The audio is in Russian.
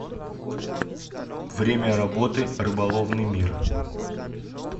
время работы рыболовный мир